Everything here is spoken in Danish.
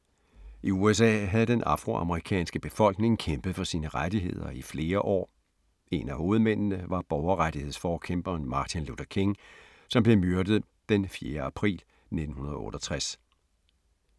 I USA havde den afroamerikanske befolkning kæmpet for deres rettigheder i flere år, en af hovedmændene var borgerrettighedsforkæmperen Martin Luther King, som blev myrdet den 4. april 1968.